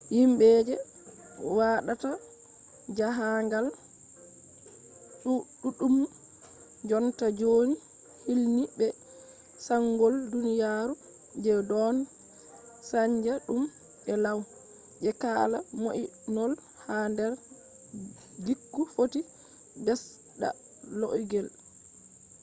yimɓe je waɗata jaahangal ɗuɗɗum jonta ɗon hilni be sanjol duniyaru je ɗon saanja tum e law je kala mo'inol ha nder gikku footi ɓesda laugel